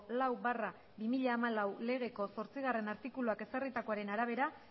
lau barra bi mila hamalau legeko zortzigarrena artikuluak ezarritakoaren arabera